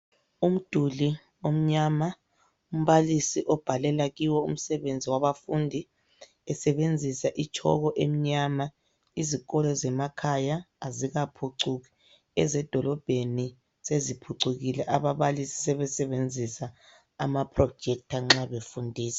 Umduli omnyama umbalisi obhalela kiwo umsebeni wabafundi esebenzisa itshoko emnyama. Izikolo zemakhaya azikaphucuku ezedolobheni seziphucukile ababalisi sebesebenzisa amaprojector nxa befundisa.